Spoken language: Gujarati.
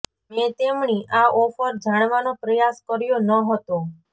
મેં તેમણી આ ઑફર જાણવાનો પ્રયાસ કર્યો ન હતો